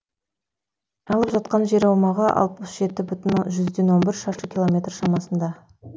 алып жатқан жер аумағы алпыс жеті бүтін жүзден он бір шаршы километр шамасында